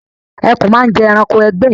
Ẹkùn máa ń jẹ ẹranko ẹgbẹ́ ẹ